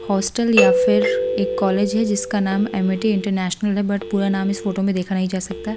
Hostel या फिर एक कॉलेज है जिसका नाम एमईटी इंटरनेशनल है बट पूरा नाम इस फोटो में देखा नहीं जा सकता।